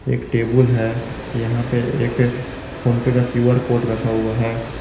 एक टेबुल है यहां पे एक फोन पे का क्यूआर कोड रखा हुआ है।